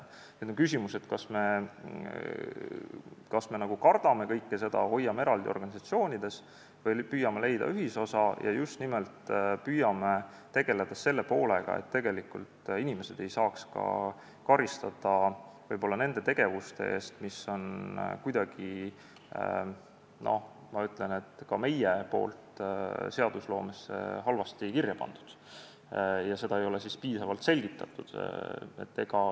Nüüd on küsimus, kas me kardame kõike seda, hoiame asjad eraldi organisatsioonides või püüame leida ühisosa ja just nimelt püüame tegeleda sellega, et inimesed ei saaks karistada võib-olla nende tegevuste eest, mis on kuidagi, ma ütlen, ka meie poolt seadustesse halvasti kirja pandud ja mida ei ole piisavalt selgitatud.